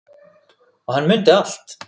Og hann mundi allt.